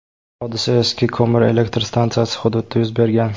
Hodisa eski ko‘mir elektr stansiyasi hududida yuz bergan.